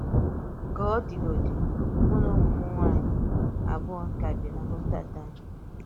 Kà ọ̀ dị̀gódì̄, mụ na ụmụ̀ m nwànyị̀ abụọ̀ ka bì̄ nà Rotterdam.